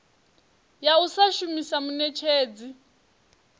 ya u sa shumisa muṋetshedzi